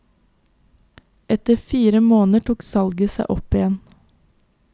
Etter fire måneder tok salget seg opp igjen.